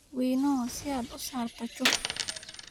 Winnow si aad u saarto chuff